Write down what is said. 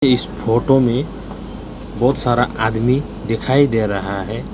इस फोटो में बहुत सारा आदमी दिखाई दे रहा है।